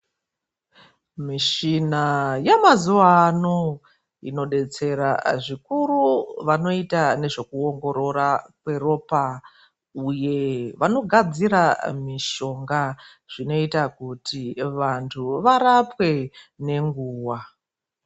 Mishina yemazuwa ano inodetsera zvikuru vanoita nezvekuongorora kweropa uye vanogadzira mishonga zvinoita kuti vantu varapwe nenguwa.